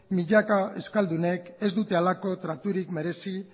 milaka euskaldunek ez dute halako traturik merezi